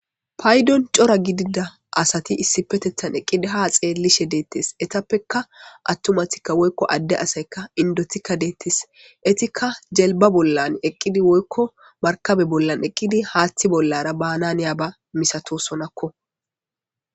Paydon cora gidida asati issipetethan eqqidi ha xeellishe deettes etappekka attomatikka woykko adde asayka indotikka deettes etikka jelba bollan eqqidi woykko markabe bollan eqqidi haaththi bollara baananiya ba misatosonakko.